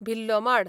भिल्लोमाड